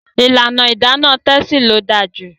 ìlànà Idana Tessy ló dáa jù.